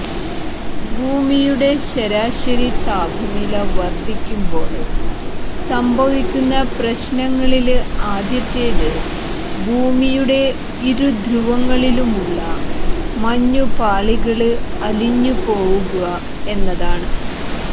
ഭൂമിയുടെ ശരാശരി താപനില വര്ധിക്കുമ്പോള് സംഭവിക്കുന്ന പ്രശ്നങ്ങളില് ആദ്യത്തേത് ഭൂമിയുടെ ഇരുധ്രുവങ്ങളിലുമുള്ള മഞ്ഞുപാളികള് അലിഞ്ഞുപോവുക എന്നതാണ്